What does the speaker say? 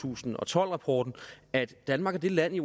tusind og tolv rapporten at danmark er det land i